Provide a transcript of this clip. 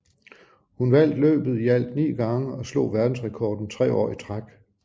Hun vandt løbet i alt ni gange og slog verdensrekorden tre år i træk